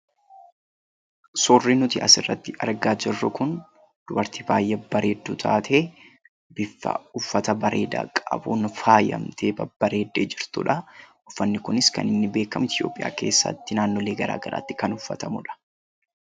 Suurri nuti asirratti argaa jirru kun dubartii baay'ee bareedduu taatee bifa uffata bareedaa qabuun faayamtee babbareeddee jirtudha. Uffanni kunis kan inni beekamu Itoophiyaa keessatti naannolee garaagaraatti kan uffatamudha.